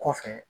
Kɔfɛ